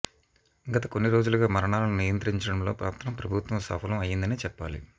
గత కొన్ని రోజులుగా మరణాలను నియంత్రించడంలో మాత్రం ప్రభుత్వం సఫలం అయిందనే చెప్పాలి